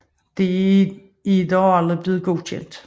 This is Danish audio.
Det er dog aldrig blevet godkendt